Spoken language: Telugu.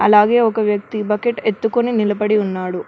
అలాగే ఒక వ్యక్తి బకెట్ ఎత్తుకొని నిలబడి ఉన్నాడు.